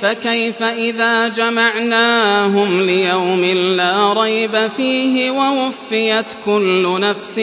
فَكَيْفَ إِذَا جَمَعْنَاهُمْ لِيَوْمٍ لَّا رَيْبَ فِيهِ وَوُفِّيَتْ كُلُّ نَفْسٍ